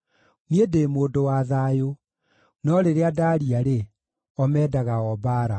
Niĩ ndĩ mũndũ wa thayũ; no rĩrĩa ndaaria-rĩ, o mendaga o mbaara.